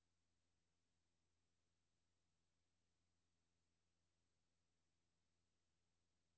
K E N D E T E G N E T